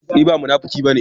Ni ba munafuki ba ne.